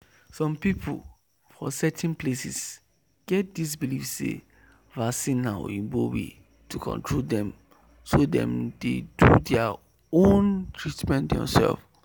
some people for certain places get this believe say vaccine na oyibo way to control dem so dem dey do their own treatment themselves.